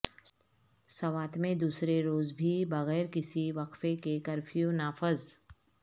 سوات میں دوسرے روز بھی بغیر کسی وقفے کے کرفیو نافذ